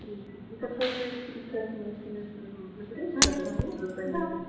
притяжение смотреть